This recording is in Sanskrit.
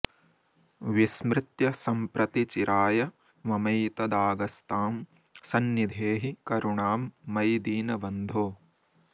विस्मृत्य सम्प्रति चिराय ममैतदागस्तां सन्निधेहि करुणां मयि दीनबन्धो